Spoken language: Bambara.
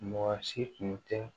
Mɔgɔ si tun tɛ